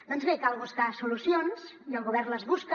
doncs bé cal buscar solucions i el govern les busca